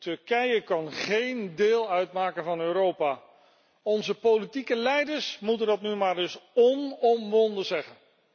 Turkije kan geen deel uitmaken van Europa. Onze politieke leiders moeten dat nu maar eens onomwonden zeggen.